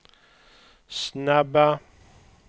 snabba